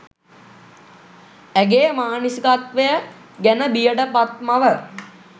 ඇගේ මානසිකත්වය ගැන බියට පත් මව